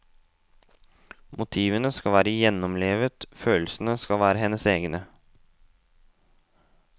Motivene skal være gjennomlevet, følelsene skal være hennes egne.